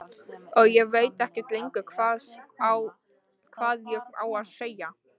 Og ég veit ekkert lengur hvað ég á að segja.